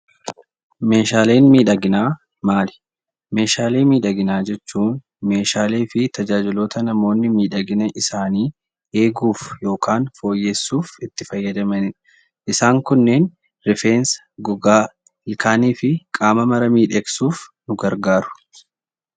Meeshaaleen miidhaginaa maali? Meeshaalee miidhaginaa jechuun meeshaalee fi tajaajiloota namoonni miidhagina isaanii eeguuf yookaan fooyyessuuf itti fayyadamani dha. Isaan kunneen rifeensa, gogaa, ilkaanii fi qaama mara miidhegsuuf nu gargaarau.